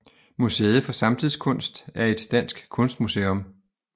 Museet for Samtidskunst er et dansk kunstmuseum